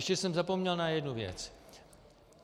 Ještě jsem zapomněl na jednu věc.